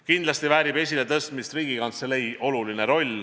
Kindlasti väärib esiletõstmist Riigikantselei oluline roll.